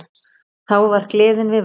Þá var gleðin við völd.